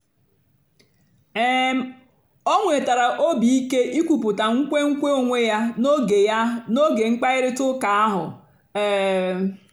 um o nwètàra óbì ìké ìkwùpụ̀tà nkwénkwè onwé ya n'ógè ya n'ógè mkpáịrịtà ụ́ka ahụ́. um